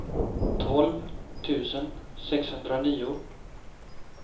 tolv tusen sexhundranio